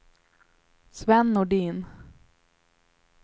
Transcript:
Sven Nordin